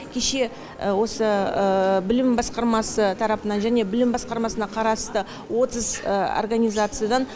кеше осы білім білім басқармасы тарапынан және білім басқармасына қарасты отыз организациядан